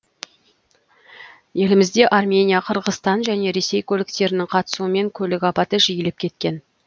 елімізде армения қырғызстан және ресей көліктерінің қатысуымен көлік апаты жиілеп кеткен